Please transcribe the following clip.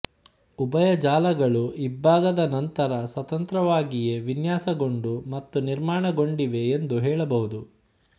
ಉಭಯ ಜಾಲಗಳು ಇಬ್ಭಾಗದ ನಂತರ ಸ್ವತಂತ್ರವಾಗಿಯೇ ವಿನ್ಯಾಸಗೊಂಡು ಮತ್ತು ನಿರ್ಮಾಣಗೊಂಡಿವೆ ಎಂದು ಹೇಳಬಹುದು